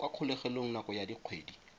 kwa kgolegelong nako ya dikgwedi